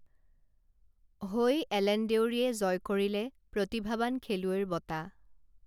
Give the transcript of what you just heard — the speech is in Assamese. হৈ এলেন দেউৰীয়ে জয় কৰিলে প্ৰতিভাৱান খেলুৱৈৰ বঁটা